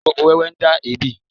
Oróm̀bó wẹ́wẹ́ ń dá èébì